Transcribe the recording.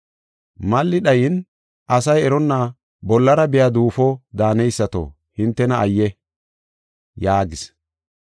“Mali dhayin, asay eronna bollara biya duufo daaneysato hintena ayye!” yaagis.